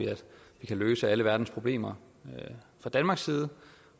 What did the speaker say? vi kan løse alle verdens problemer fra danmarks side